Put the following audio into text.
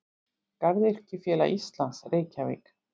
Garðyrkjufélag Íslands Reykjavík.